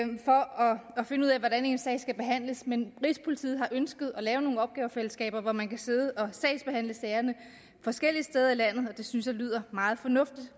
finde ud af hvordan ens sag skal behandles men rigspolitiet har ønsket at lave nogle opgavefællesskaber hvor man kan sidde og sagsbehandle sagerne forskellige steder i landet og det synes jeg lyder meget fornuftigt